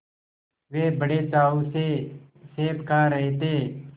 वे बड़े चाव से सेब खा रहे थे